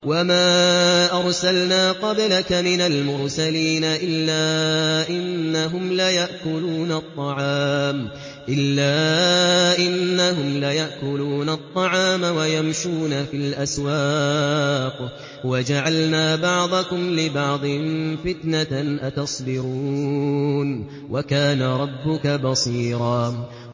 وَمَا أَرْسَلْنَا قَبْلَكَ مِنَ الْمُرْسَلِينَ إِلَّا إِنَّهُمْ لَيَأْكُلُونَ الطَّعَامَ وَيَمْشُونَ فِي الْأَسْوَاقِ ۗ وَجَعَلْنَا بَعْضَكُمْ لِبَعْضٍ فِتْنَةً أَتَصْبِرُونَ ۗ وَكَانَ رَبُّكَ بَصِيرًا